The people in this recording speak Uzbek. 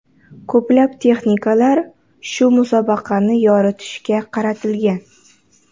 Ko‘plab texnikalar shu musobaqani yoritishga qaratilgan.